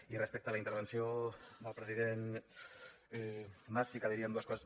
i respecte a la intervenció del president mas sí que diríem dues coses